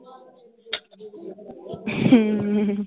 ਹਮ